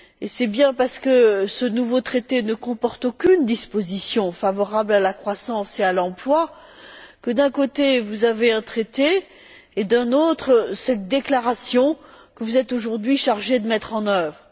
C'est bien parce que ce nouveau traité ne comporte aucune disposition favorable à la croissance et à l'emploi que, de l'autre côté, vous avez cette déclaration que vous êtes, aujourd'hui, chargé de mettre en œuvre.